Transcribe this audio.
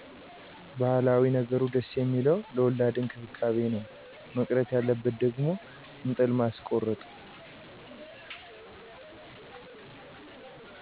ባህላዊ ነገሩ ደስ ሚለዉ ለወላድ እክብካቤ ነው መቅረት ያለበት ደግሞ እጥል ማስኮረጥ